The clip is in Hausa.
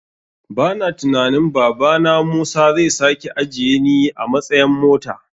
Bana tunanin babana musa zai sake ajiyeni a matsayan mota.